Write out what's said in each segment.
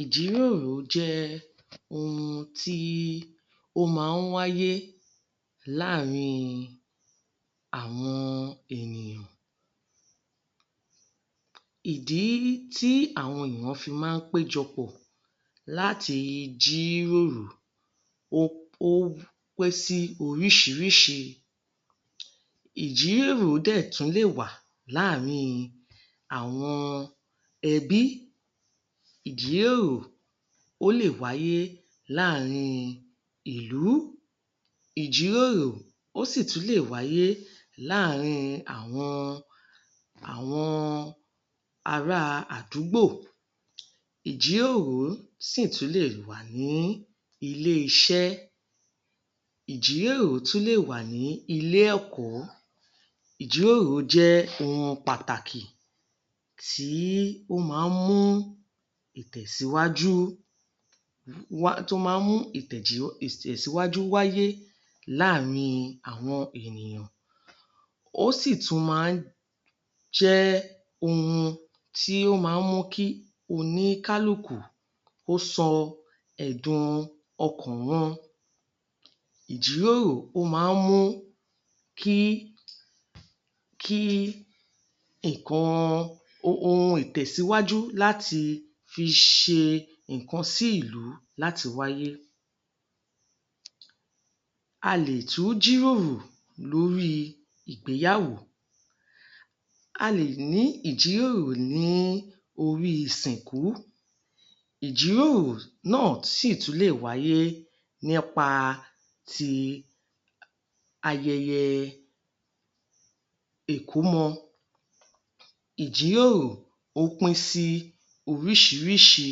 Ìjíròrò jẹ́ ohun tí ó máa ń wáyé láàrin àwọn ènìyàn. Ìdí tí àwọn ènìyàn fi máa ń pé jọpọ̀ láti jíròrò ó ó pé sí oríṣiríṣi. Ìjíròrò dẹ̀ tún lè wà láàrin àwọn ẹbí. Ìjíròrò ó lè wáyé láàrin ìlú. Ìjíròrò ó sì tún lè wáyé láàrin àwọn àwọn ará àdúgbò. Ìjíròrò sì tún lè wà ní ilé-iṣẹ́. Ìjíròrò tún lè wà ní ilé-ẹ̀kọ́. Ìjíròrò jẹ́ ohun pàtàkì tí ó máa ń mú ìtẹ̀síwájú wá, tó máa ń mú ìtẹ̀síwájú wáyé láàrin àwọn ènìyàn. Ó sì tún máa ń jẹ́ ohun tí ó máa ń mú kí oníkálùkù kó sọ ẹ̀dùn ọkàn wọn. Ìjíròrò ó máa ń mú kí kí nǹkan um ohun ìtẹ̀síwájú láti fi ṣe nǹkan sí ìlú láti wáyé. A lè tún jíròrò lórí ìgbéyàwó. A lè ní ìjíròrò ní orí ìsìnkú. Ìjíròrò náà sì tún lè wáyé nípa ti ayẹyẹ ìkómọ. Ìjíròrò ó pín sí oríṣiríṣi.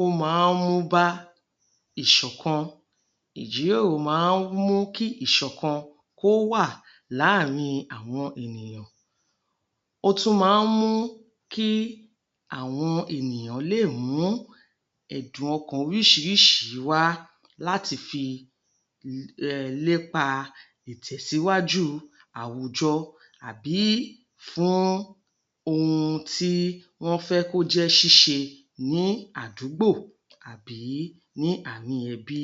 Ó máa ń mú bá ìṣọ̀kan. Ìjíròrò máa ń mú kí ìṣọ̀kan kó wà láàrin àwọn ènìyàn. Ó tún máa ń mú kí àwọn ènìyàn lè mú ẹ̀dùn ọkàn oríṣiríṣi wá láti fi um lépa ìtẹ̀síwájú àwùjọ àbí fún ohun tí wọ́n fẹ́ kó jẹ́ ṣíṣe ní àdúgbò àbí ní àárín ẹbí.